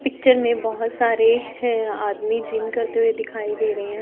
picture में बहोत सारे है आदमी जिम करते हुए दिखाई दे रहे--